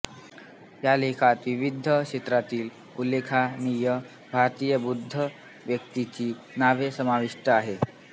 या लेखात विविध क्षेत्रातील उल्लेखनिय भारतीय बौद्ध व्यक्तींची नावे समाविष्ठ आहेत